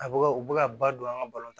A bɛ ka u bɛ ka ba don an ka balon